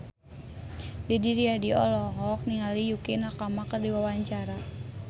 Didi Riyadi olohok ningali Yukie Nakama keur diwawancara